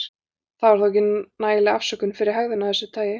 Það var þó ekki nægileg afsökun fyrir hegðun af þessu tagi.